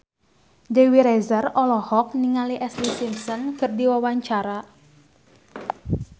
Dewi Rezer olohok ningali Ashlee Simpson keur diwawancara